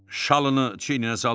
Şalını çiyninə saldı.